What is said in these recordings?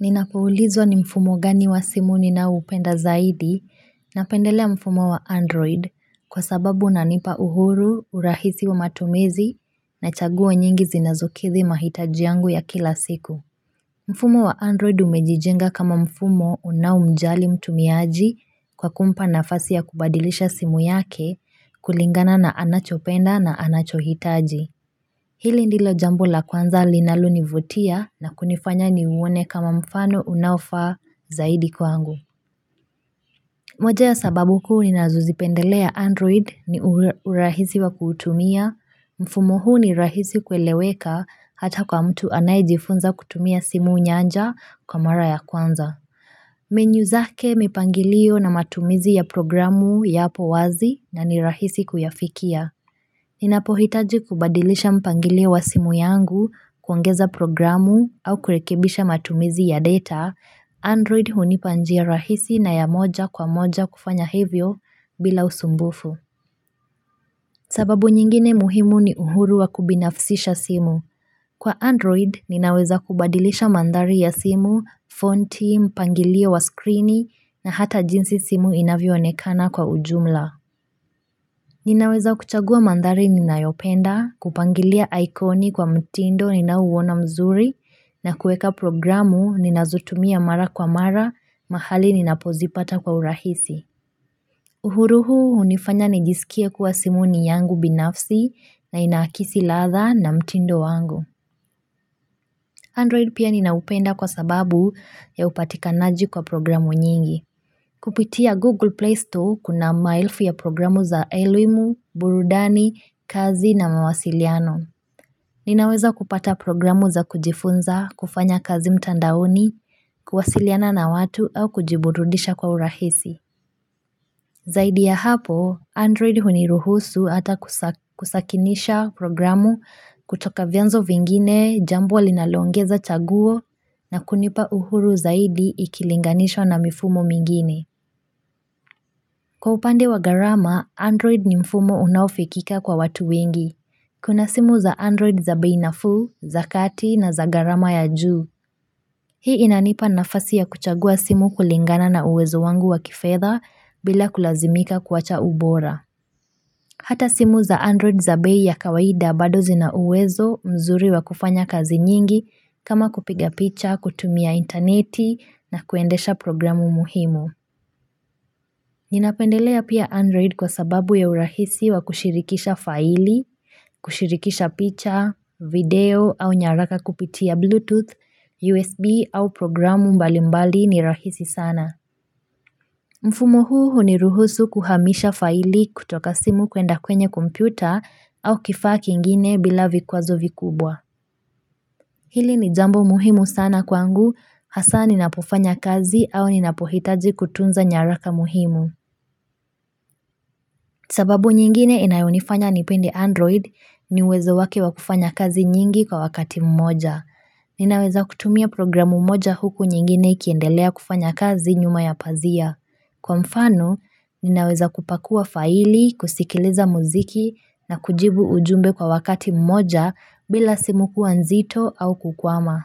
Ninapoulizwa ni mfumo gani wa simu ninao upenda zaidi, napendelea mfumo wa android kwa sababu unanipa uhuru, urahisi wa matumizi na chaguo nyingi zinazokidhi mahitaji yangu ya kila siku. Mfumo wa android umejijenga kama mfumo unao mjali mtumiaji kwa kumpa nafasi ya kubadilisha simu yake kulingana na anachopenda na anachohitaji. Hili ndilo jambo la kwanza linalo nivutia na kunifanya ni uone kama mfano unaufaa zaidi kwangu. Moje ya sababu kuu ninazozipendelea Android ni urahisi wa kutumia, mfumo huu ni rahisi kueleweka hata kwa mtu anayejifunza kutumia simu nyanja kwa mara ya kwanza. Menu zake mipangilio na matumizi ya programu yapo wazi na ni rahisi kuyafikia. Ninapo hitaji kubadilisha mpangilio wa simu yangu kuongeza programu au kurekebisha matumizi ya data, Android hunipa njia rahisi na ya moja kwa moja kufanya hivyo bila usumbufu. Sababu nyingine muhimu ni uhuru wa kubinafsisha simu. Kwa Android, ninaweza kubadilisha mandhari ya simu, fonti, mpangilio wa skrini na hata jinsi simu inavyo onekana kwa ujumla. Ninaweza kuchagua mandhari ninayopenda, kupangilia aikoni kwa mtindo ninaouona mzuri na kueka programu ninazotumia mara kwa mara mahali ninapozipata kwa urahisi. Uhuru huu hunifanya nijisikie kuwa simu ni yangu binafsi na inaakidhi ladha na mtindo wangu. Android pia ninaupenda kwa sababu ya upatikanaji kwa programu nyingi. Kupitia Google Play Store kuna maelfu ya programu za elimu, burudani, kazi na mawasiliano. Ninaweza kupata programu za kujifunza, kufanya kazi mtandaoni, kuwasiliana na watu au kujiburudisha kwa urahisi. Zaidi ya hapo, Android huniruhusu ata kusakinisha programu kutoka vianzo vingine, jambo linalo ongeza chaguo na kunipa uhuru zaidi ikilinganishwa na mifumo mingine. Kwa upande wa gharama, Android ni mfumo unaufikika kwa watu wengi. Kuna simu za Android za bei nafuu, za kati na za gharama ya juu. Hii inanipa nafasi ya kuchagua simu kulingana na uwezo wangu wa kifedha bila kulazimika kuwacha ubora. Hata simu za Android za bei ya kawaida bado zina uwezo mzuri wa kufanya kazi nyingi kama kupiga picha, kutumia interneti na kuendesha programu muhimu. Ninapendelea pia Android kwa sababu ya urahisi wa kushirikisha faili, kushirikisha picha, video au nyaraka kupitia Bluetooth, USB au programu mbali mbali ni rahisi sana. Mfumo huni ruhusu kuhamisha faili kutoka simu kwenda kwenye kompyuta au kifaa kingine bila vikwazo vikubwa. Hili ni jambo muhimu sana kwangu, hasa ninapofanya kazi au ni napohitaji kutunza nyaraka muhimu. Sababu nyingine inayonifanya nipende Android ni uwezo wake wa kufanya kazi nyingi kwa wakati mmoja. Ninaweza kutumia programu moja huku nyingine ikiendelea kufanya kazi nyuma ya pazia. Kwa mfano, ninaweza kupakua faili, kusikiliza muziki na kujibu ujumbe kwa wakati mmoja bila simu kua nzito au kukwama.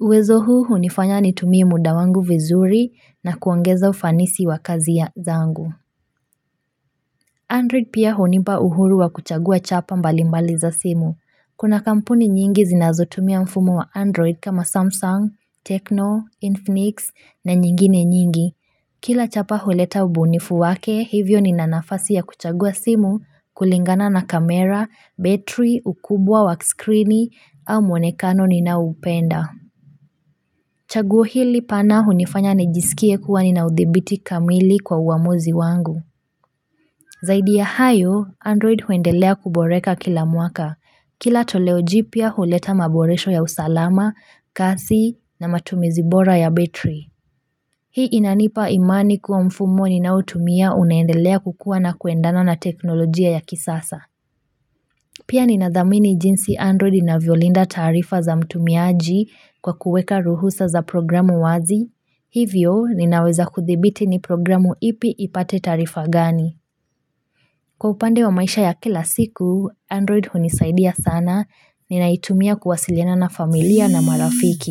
Uwezo huu hunifanya nitumie muda wangu vizuri na kuongeza ufanisi wa kazi zangu. Android pia hunipa uhuru wa kuchagua chapa mbalimbali za simu. Kuna kampuni nyingi zinazotumia mfumo wa Android kama Samsung, Tecno, Infinix na nyingine nyingi. Kila chapa huleta ubunifu wake, hivyo nina nafasi ya kuchagua simu, kulingana na kamera, battery, ukubwa wa scrini, au mwonekano ninaoupenda. Chaguo hili pana hunifanya nijisikie kuwa nina udhibiti kamili kwa uamuzi wangu. Zaidi ya hayo, Android huendelea kuboreka kila mwaka. Kila toleo jipya huleta maboresho ya usalama, kasi, na matumizi bora ya battery. Hii inanipa imani kuwa mfumo ninautumia unaendelea kukua na kuendana na teknolojia ya kisasa. Pia ninadhamini jinsi Android inavyo linda taarifa za mtumiaji kwa kuweka ruhusa za programu wazi. Hivyo, ninaweza kuthibiti ni programu ipi ipate tarifa gani. Kwa upande wa maisha ya kila siku, Android hunisaidia sana, ninaitumia kuwasiliana na familia na marafiki.